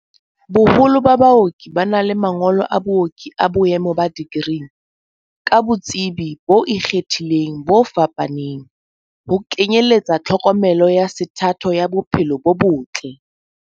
Boholo ba baoki ba na le mangolo a booki a boemo ba dikri, ka botsebi bo ikgethileng bo fapaneng, ho kenyeletsa tlhokomelo ya sethatho ya bo phelo bo botle.